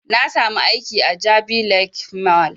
Na sami aiki a jabi lake mall